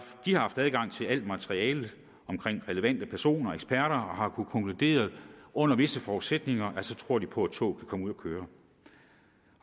haft adgang til alt materiale omkring relevante personer og eksperter og har kunnet konkludere at under visse forudsætninger tror de på at toget kan komme ud at køre